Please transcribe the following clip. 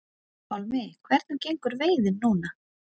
Pálmi: Hvernig gengur veiðin núna?